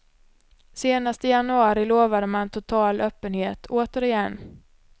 Senast i januari lovade man total öppenhet, återigen.